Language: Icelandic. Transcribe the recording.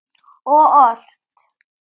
Og ort.